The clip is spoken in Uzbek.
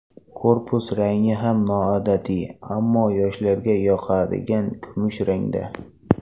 Korpus rangi ham noodatiy, ammo yoshlarga yoqadigan kumush rangda.